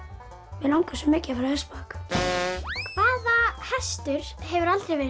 mig langar svo mikið að fara á hestbak hvaða hestur hefur aldrei verið